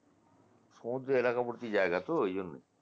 সমদ্র এলাকাবর্তি জায়গা তো ওই জন্যই